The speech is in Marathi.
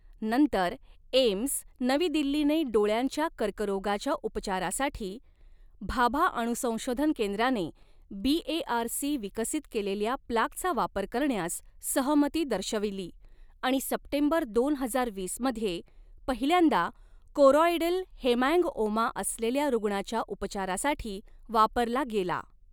नंतर, एम्स, नवी दिल्लीने डोळ्यांच्या कर्करोगाच्या उपचारासाठी भाभा अणु संशोधन केंद्राने बीएआरसी विकसित केलेल्या प्लाकचा वापर करण्यास सहमती दर्शविली आणि सप्टेंबर दोन हजार वीस मध्ये पहिल्यांदा कोरॉईडल हेमॅन्गओमा असलेल्या रूग्णाच्या उपचारासाठी वापरला गेला.